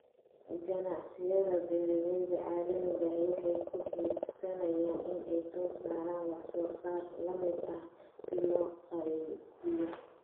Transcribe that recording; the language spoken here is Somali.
Ganacsiyada beeralayda caalamiga ahi waxa ay hiigsanayaan in ay soo saaraan wax soo saar la mid ah si loo qaybiyo.